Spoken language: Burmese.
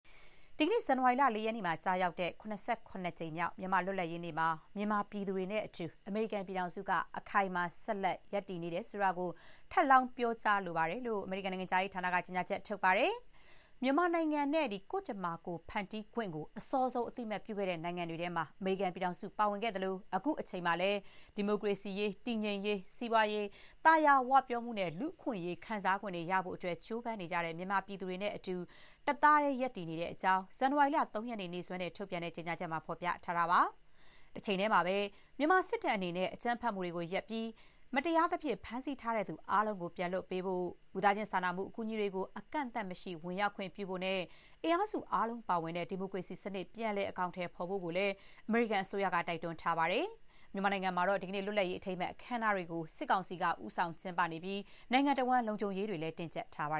ဒီကနေ့ ဇန်နဝါရီလ ၄ ရက်နေ့မှာ ကျရောက်တဲ့ ၇၇ ကြိမ်မြောက် မြန်မာ့လွတ်လပ်ရေးမှာ မြန်မာပြည်သူတွေနဲ့အတူ အမေရိကန်ပြည်ထောင်စုက အခိုင်အမာ ဆက်လက် ရပ်တည်နေတယ်ဆိုတာကို ထပ်လောင်း ပြောကြားပါကြောင်း အမေရိကန် နိုင်ငံခြားရေးဌာနက ကြေညာချက် ထုတ်ပြန်ပါတယ်။ မြန်မာကို နိုင်ငံတခုအဖြစ်၊ ကိုယ့်ကြမ္မာ ကိုယ်ဖန်တီးခွင့်ရှိတယ် ဆိုတာကို အစောဆုံး အသိအမှတ်ပြုတဲ့ နိုင်ငံတွေထဲမှာ အမေရိကန်ပြည်ထောင်စု ပါဝင်ခဲ့တဲ့အကြောင်းနဲ့ အခုချိန်မှာလည်း ဒီမိုကရေစီရရှိရေး၊ တည်ငြိမ်ရေး၊ စီးပွားရေး သာယာဝပြောမှုနဲ့ လူ့အခွင့်အရေးတွေ ကို ခံစားခွင့်ရဖို့ ကြိုးပမ်းနေကြတဲ့ မြန်မာပြည်သူတွေနဲ့အတူ တသားတည်း ရပ်တည်နေပါတဲ့အကြောင်းလည်း ဇန်နဝါရီလ ၃ ရက်နေ့ နေ့စွဲနဲ့ ထုတ်ပြန်တဲ့ ကြေညာချက်မှာ ဖော်ပြထားပါတယ်။ တချိန်တည်းမှာပဲ မြန်မာစစ်တပ် အနေနဲ့ အကြမ်းဖက်မှုတွေ ရပ်ပြီး မတရားသဖြင့် ဖမ်းဆီးထားသူ အားလုံးကို ပြန်လွှတ်ပေးဖို့၊ လူသားချင်းစာနာမှု အကူအညီတွေကို အကန့်အသတ်မရှိ ဝင်ရောက်ခွင့်ပြုဖို့နဲ့ အင်အားစု အားလုံး ပါဝင်တဲ့ ဒီမိုကရေစီ စနစ် ပြန်လည် အကောင်အထည် ဖော်ဖို့လည်း အမေရိကန်အစိုးရက တိုက်တွန်းထားပါတယ်။ မြန်မာနိုင်ငံမှာတော့ လွတ်လပ်ရေးနေ့ အထိမ်းအမှတ် အခမ်းအနားတွေကို စစ်ကောင်စီက ဦးဆောင် ကျင်းပသလို၊ နိုင်ငံတဝန်း လုံခြုံရေးတွေလည်း တင်းကျပ်ထားပါ